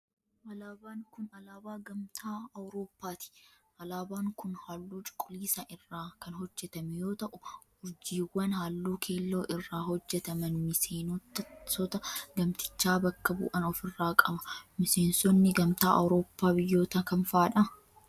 Alaabaan kun, alaabaa gamtaa Awrooppaati. Alaabaan kun, haalluu cuquliisa irraa kan hojjatame yoo ta'u, urjiiwwan haalluu keelloo irraa hojjataman miseenota gamtichaa bakka bu'an of irraa qaba. Miseensonni gamtaa Awrooppaa biyyoota kam faa dha?